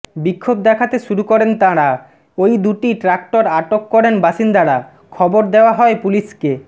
বিক্ষোভ দেখাতে শুরু করেন তাঁরা ওই দুটি ট্রাক্টর আটক করেন বাসিন্দারা খবর দেওয়া হয় পুলিশকে